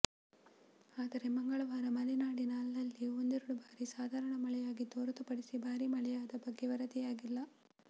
ಆದರೆ ಮಂಗಳವಾರ ಮಲೆನಾಡಿನ ಅಲ್ಲಲ್ಲಿ ಒಂದೆರೆಡು ಬಾರಿ ಸಾಧಾರಣ ಮಳೆಯಾಗಿದ್ದು ಹೊರತು ಪಡಿಸಿ ಭಾರೀ ಮಳೆಯಾದ ಬಗ್ಗೆ ವರದಿಯಾಗಿಲ್ಲ